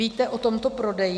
Víte o tomto prodeji?